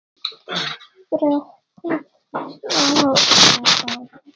Frekara lesefni og mynd